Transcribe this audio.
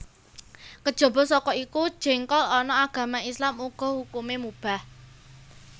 Kejaba saka iku jéngkol ana agama Islam uga hukumé mubah